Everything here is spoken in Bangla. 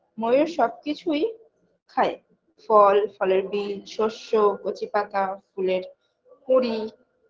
ময়ূর সব কিছুই খায় ফল ফলের বীজ সরষ্য কচিপাতা ফুলের কড়ি